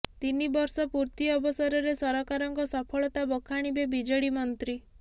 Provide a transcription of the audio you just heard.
ତିନି ବର୍ଷ ପୂର୍ତି ଅବସରରେ ସରକାରଙ୍କ ସଫଳତା ବଖାଣିବେ ବିଜେଡି ମନ୍ତ୍ରୀ